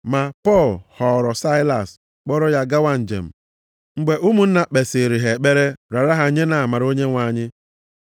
Ma Pọl họọrọ Saịlas, kpọrọ ya gawa njem, mgbe ụmụnna kpesịrị ha ekpere raara ha nye nʼamara Onyenwe anyị.